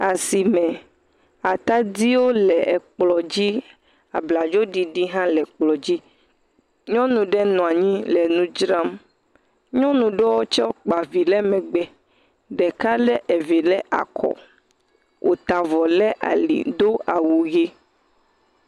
Asime, atadiwo le ekplɔ̃ dzi, abladzoɖiɖi hã le kplɔ̃ dzi. Nyɔnu ɖe nɔ anyi le nu dzram. Nyɔnu ɖowo tsɛ kpa vi lɛ megbe, ɖeka lé evi lɛ akɔ wòta vɔ lɛ ali do awu ʋe.